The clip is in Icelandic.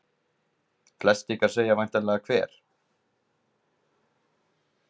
Flest ykkar segja væntanlega Hver?